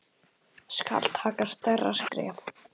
Skal taka stærra skref?